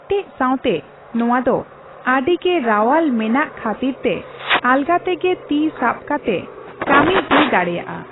ᱠᱮᱴᱮᱡ ᱥᱟᱣᱛᱮ ᱱᱚᱣᱟ ᱫᱚ ᱟᱹᱰᱤ ᱜᱮ ᱨᱟᱣᱟᱞ ᱢᱮᱱᱟᱜ ᱠᱟᱷᱹᱛᱤᱨ ᱛᱮ ᱟᱞᱜᱟ ᱛᱮᱜᱮ ᱛᱤ ᱥᱟᱵ ᱠᱟᱛᱮ ᱠᱟᱹᱢᱤ ᱦᱩᱭ ᱫᱟᱲᱮᱭᱟᱜ ᱟ ᱾